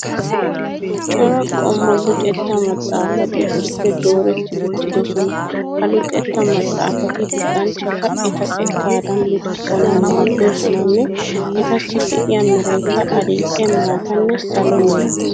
Cora qommo luxetta maxxaafati issippe dooretti uttidosona. Ha luxetta maxxaafati luxanchchata eta xekkaadan luxissanawu maaddoosonanne etassi de'iya merayikka adil'e, maatanne salo mera.